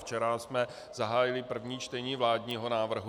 Včera jsme zahájili první čtení vládního návrhu.